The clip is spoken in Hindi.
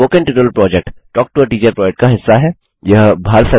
spoken tutorial project talk to a teacher project का हिस्सा है